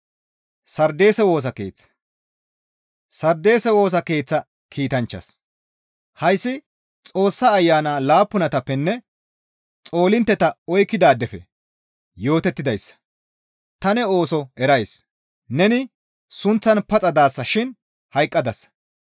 Sardeese Woosa Keeththa kiitanchchaas, «Hayssi Xoossa Ayana laappunatappenne xoolintteta oykkidaadefe yootettidayssa; ta ne ooso erays; neni sunththan paxa daasa shin hayqqadasa.